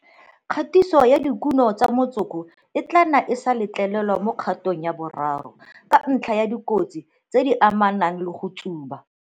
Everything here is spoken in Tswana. Thekiso ya dikuno tsa motsoko e tla nna e sa letlelelwa mo kgatong ya boraro, ka ntlha ya dikotsi tse di amanang le go tsuba.